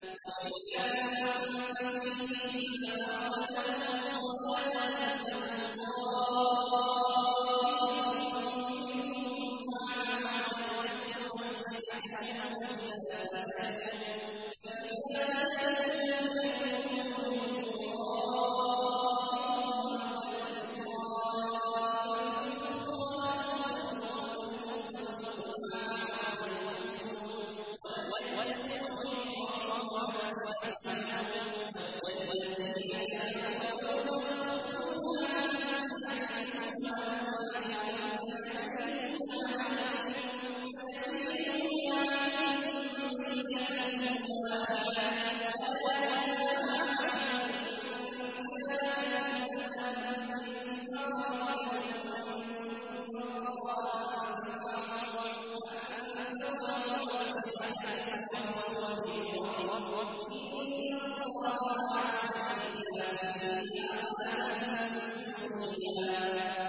وَإِذَا كُنتَ فِيهِمْ فَأَقَمْتَ لَهُمُ الصَّلَاةَ فَلْتَقُمْ طَائِفَةٌ مِّنْهُم مَّعَكَ وَلْيَأْخُذُوا أَسْلِحَتَهُمْ فَإِذَا سَجَدُوا فَلْيَكُونُوا مِن وَرَائِكُمْ وَلْتَأْتِ طَائِفَةٌ أُخْرَىٰ لَمْ يُصَلُّوا فَلْيُصَلُّوا مَعَكَ وَلْيَأْخُذُوا حِذْرَهُمْ وَأَسْلِحَتَهُمْ ۗ وَدَّ الَّذِينَ كَفَرُوا لَوْ تَغْفُلُونَ عَنْ أَسْلِحَتِكُمْ وَأَمْتِعَتِكُمْ فَيَمِيلُونَ عَلَيْكُم مَّيْلَةً وَاحِدَةً ۚ وَلَا جُنَاحَ عَلَيْكُمْ إِن كَانَ بِكُمْ أَذًى مِّن مَّطَرٍ أَوْ كُنتُم مَّرْضَىٰ أَن تَضَعُوا أَسْلِحَتَكُمْ ۖ وَخُذُوا حِذْرَكُمْ ۗ إِنَّ اللَّهَ أَعَدَّ لِلْكَافِرِينَ عَذَابًا مُّهِينًا